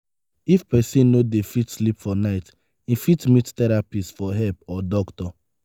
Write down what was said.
if person no dey fit sleep for night im fit meet therapist for help or doctor